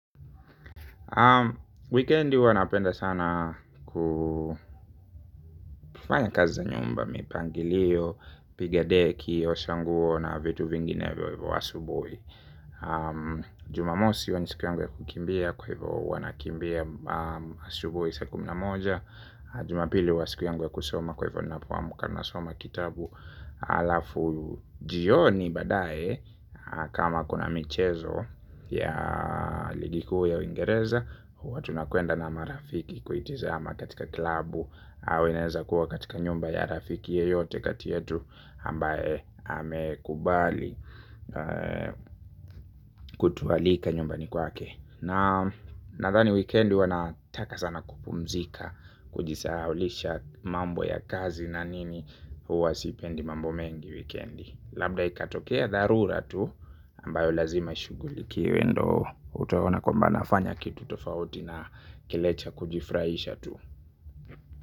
Wikendi huwa napenda sana kufanya kazi za nyumba mipangilio, kupiga deki, osha nguo na vitu vinginevyo hivyo asubuhi. Jumamosi huwa siku yangu ya kukimbia kwa hivyo huwa nakimbia asubuhi saa kumi na moja. Jumapili huwa siku yangu ya kusoma kwa hivyo ninapoamka huwa nasoma kitabu alafu jioni baadaye kama kuna michezo ya ligi kuu ya uingereza huwa tunakwenda na marafiki kuitizama katika klabu. Au inaeza kuwa katika nyumba ya rafiki yeyote kati yetu ambaye amekubali kutualika nyumbani kwake. Nadhani wikendi huwa nataka sana kupumzika kujisahaulisha mambo ya kazi na nini huwa sipendi mambo mengi wikendi. Labda ikatokea dharura tu ambayo lazima ishughulikiwe ndo utaona kwamba nafanya kitu tofauti na kile cha kujifurahisha tu.